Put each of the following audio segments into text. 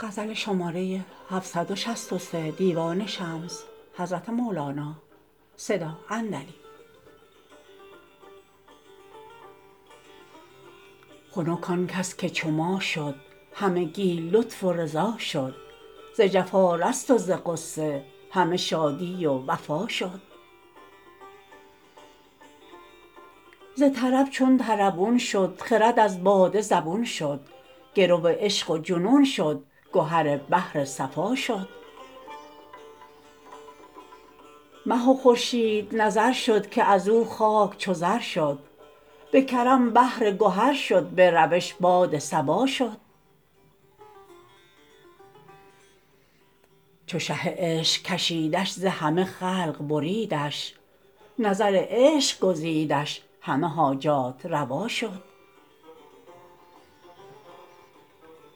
خنک آن کس که چو ما شد همگی لطف و رضا شد ز جفا رست و ز غصه همه شادی و وفا شد ز طرب چون طربون شد خرد از باده زبون شد گرو عشق و جنون شد گهر بحر صفا شد مه و خورشید نظر شد که از او خاک چو زر شد به کرم بحر گهر شد به روش باد صبا شد چو شه عشق کشیدش ز همه خلق بریدش نظر عشق گزیدش همه حاجات روا شد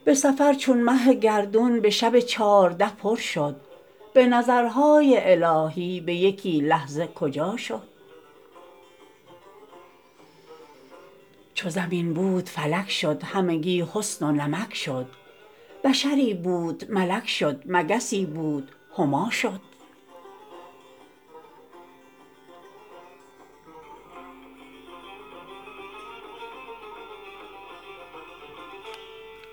به سفر چون مه گردون به شب چارده پر شد به نظرهای الهی به یکی لحظه کجا شد چو زمین بود فلک شد همگی حسن و نمک شد بشری بود ملک شد مگسی بود هما شد